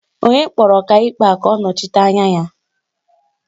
Onye kpọrọ Ọkaikpe a ka ọ nọchite anya ya?